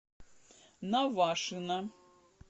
навашино